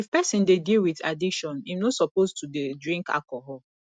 if person dey deal with addiction im no suppose to dey drink alcohol